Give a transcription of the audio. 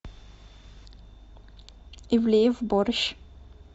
ивлеев борщ